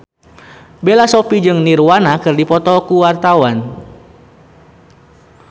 Bella Shofie jeung Nirvana keur dipoto ku wartawan